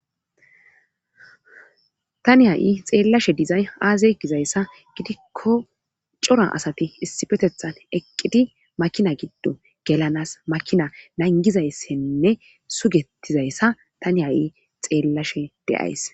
Tani ha'i xeellashe dizay aaze gizayssa gidikko cora asati issifetethan eqqidi makina giddo gelanas makina nangizayssenne sugetizayssa tani ha'i xeellashe deays.